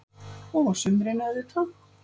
Og á sumrin, auðvitað.